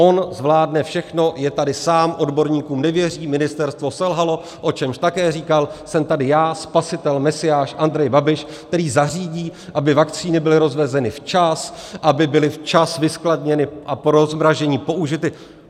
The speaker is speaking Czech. On zvládne všechno, je tady sám, odborníkům nevěří, ministerstvo selhalo, o čemž také říkal - jsem tady já, spasitel, mesiáš, Andrej Babiš, který zařídí, aby vakcíny byly rozvezeny včas, aby byly včas vyskladněny a po rozmrazení použity.